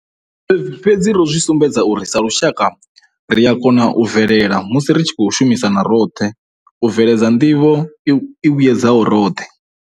Fhedzi ro zwi sumbedza uri, sa lushaka, ri a kona u bvelela musi ri tshi khou shumisana roṱhe u bveledza nḓivho i vhuedzaho roṱhe.